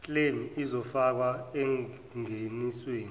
claim izofakwa engenisweni